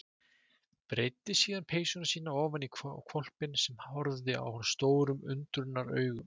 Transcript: Breiddi síðan peysuna sína ofan á hvolpinn sem horfði á hann stórum undrunaraugum.